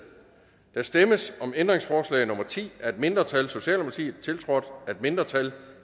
der stemmes om ændringsforslag nummer ti af et mindretal tiltrådt af et mindretal